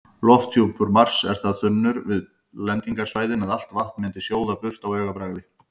Lofthjúpur Mars er það þunnur við lendingarsvæðin að allt vatn myndi sjóða burt á augabragði.